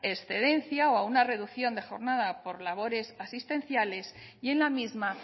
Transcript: excedencia o a una reducción de jornada por labores asistenciales y en la misma